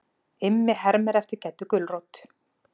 Immi hermir eftir Geddu gulrót.